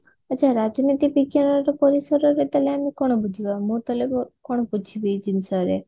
ଆଛା ରାଜନୀତି ବିଜ୍ଞାନର ପରିସରରେ ତାହେଲେ ଆମେ କଣ ବୁଝିବା ମୁଁ ତାହେଲେ କଣ ବୁଝିବି ଜିନିଷ ରେ